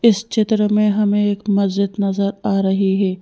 इस चित्र में हमे एक मजीद नज़र आ रही है।